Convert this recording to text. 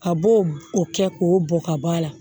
A b'o o kɛ k'o bɔn ka b'a la